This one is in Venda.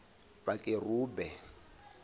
vhakerube